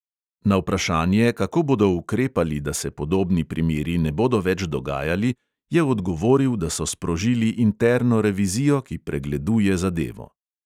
Na vprašanje, kako bodo ukrepali, da se podobni primeri ne bodo več dogajali, je odgovoril, da so sprožili interno revizijo, ki pregleduje zadevo.